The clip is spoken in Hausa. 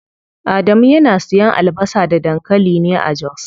Adamu yana siyan albasa da dankali ne a jos.